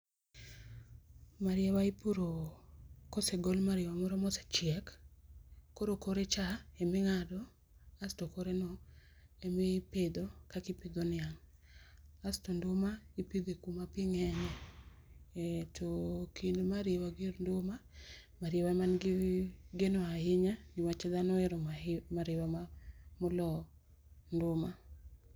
Mariewa ipuro kosegol mariewa moro ma ochiek, koro kore cha ema ing'ado kasto kore no ema ipidho kaka ipidho niang'.Kasto nduma ipidhe kuma pii ng'enye. To ekind mariewa gi nduma, mariewa ema ni gi geno ahinya ni wach ji ohero mariewa mo olo nduma